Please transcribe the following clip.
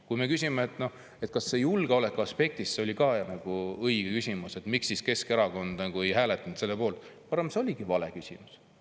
Kui küsitakse, kas see oli julgeoleku aspektist õige ja miks Keskerakond ei hääletanud selle poolt, siis ma arvan, et see oligi vale.